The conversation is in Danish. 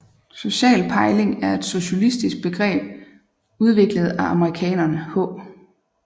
Social pejling er et sociologisk begreb udviklet af amerikanerne H